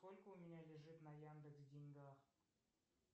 сколько у меня лежит на яндекс деньгах